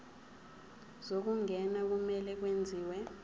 zokungena kumele kwenziwe